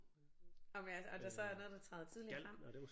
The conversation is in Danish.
Om jeg og der så er noget der træder tydeligere frem